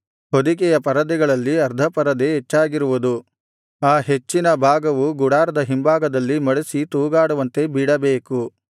ಹೊದಿಕೆಯ ಪರದೆಗಳಲ್ಲಿ ಅರ್ಧ ಪರದೆ ಹೆಚ್ಚಾಗಿರುವುದು ಆ ಹೆಚ್ಚಿನ ಭಾಗವು ಗುಡಾರದ ಹಿಂಭಾಗದಲ್ಲಿ ಮಡಿಸಿ ತೂಗಾಡುವಂತೆ ಬಿಡಬೇಕು